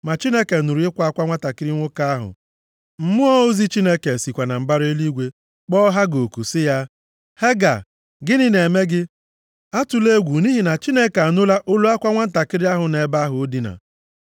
Ma Chineke nụrụ ịkwa akwa nwantakịrị nwoke ahụ. Mmụọ ozi Chineke sikwa na mbara eluigwe kpọọ Hega oku sị ya, “Hega, gịnị na-eme gị? Atụla egwu, nʼihi na Chineke anụla + 21:17 Chineke anụla Maọbụ, Chineke na-anụ, bụ ihe Ishmel pụtara. olu akwa nwantakịrị ahụ nʼebe ahụ o dina.